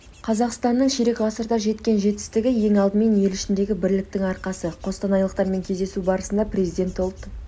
қазақстаның ширек ғасырда жеткен жетістігі ең алдымен ел ішіндегі бірліктің арқасы қостанайлықтармен кездесу барысында президент ұлт